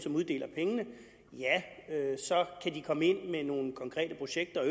uddeler pengene så kan de komme ind via nogle konkrete projekter og